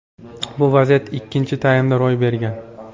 Bu vaziyat ikkinchi taymda ro‘y bergan.